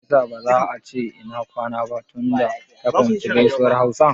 Me ya sa ba za a ce "Ina kwana" ba tunda ta fahimci gaisuwar hausa?